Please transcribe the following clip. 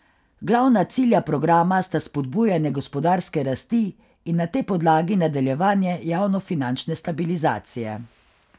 Glavna cilja programa sta spodbujanje gospodarske rasti in na tej podlagi nadaljevanje javnofinančne stabilizacije.